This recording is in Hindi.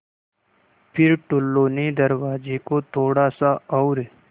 फ़िर टुल्लु ने दरवाज़े को थोड़ा सा और